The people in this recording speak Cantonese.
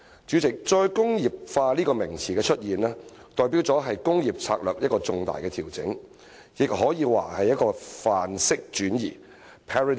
主席，"再工業化"一詞的出現，代表的是工業策略的一個重大調整，也可以說是一個範式轉移。